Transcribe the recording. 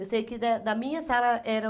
Eu sei que da da minha sala eram